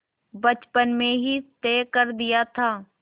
बचपन में ही तय कर दिया था